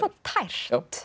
tært